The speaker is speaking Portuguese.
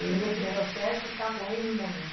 Ele... E esse processo está ocorrendo em Mônaco?